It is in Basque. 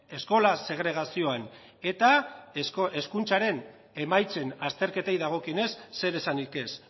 eskola segregazioan eta hezkuntzaren emaitzen azterketei dagokionez zer esanik ez